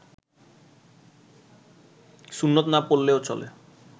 সুন্নত না পড়লেও চলে